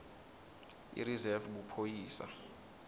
irizefu buphoyisa